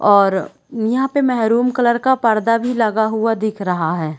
और यहाँ पे मेहरूम कलर का पर्दा भी लगा हुआ दिख रहा है।